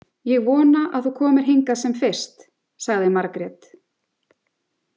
Ég vona að þú komir hingað sem fyrst, sagði Margrét.